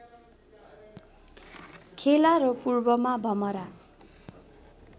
खेला र पूर्वमा भमरा